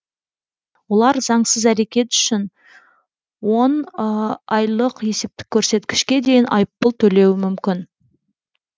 олар заңсыз әрекет үшін он айлық есептік көрсеткішке дейін айыппұл төлеуі мүмкін